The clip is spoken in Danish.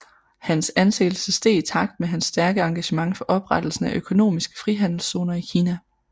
Hans anseelse steg i takt med hans stærke engagement for oprettelsen af økonomiske frihandelszoner i Kina